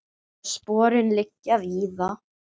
Og sporin liggja víða.